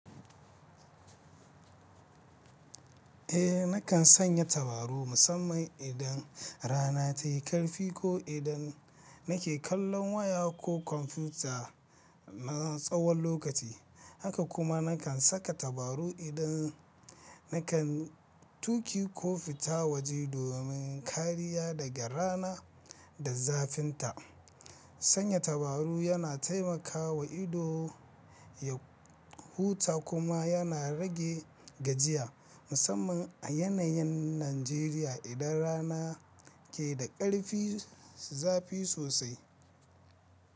Eh nakan sanya tabaru musamman idan rana tayi karfi ko idan nake kallon waya ko kwamfuta na tsawon lokaci. Haka kuma nakan saka tabaru idan nakan tuki ko fita waje domin kariya daga rana da zafinta. Sanya tabaru yana taimakawa ido ya huta kuma yana rage gajiya musamman a yanayin Najeriya idan rana ke da ƙarfi zafi sosai.